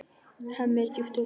Hemmi er djúpt hugsi.